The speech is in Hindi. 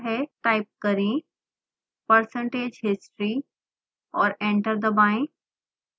टाइप करें percentage history और एंटर दबाएं